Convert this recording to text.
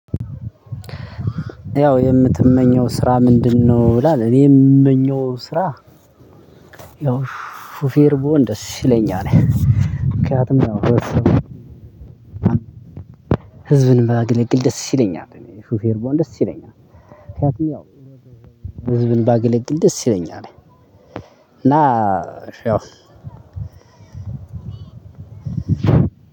ያው የምትመኘው ስራ ምንድነው? ብላ እኔ የምመኘው ስራ ያው ሹፌር ብሆን ደስ ይለኛል። ምክንያቱም ያው ህዝብን ባገለግል ደስ ይለኛል። እኔ ሹፌር ብሆን ደስ ይለኛል። ህዝብን ብንባገለግል ደስ ይለኛል። እና ያው